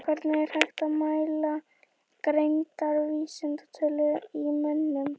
Hvernig er hægt að mæla greindarvísitölu í mönnum?